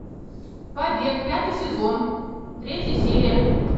побег пятый сезон третья серия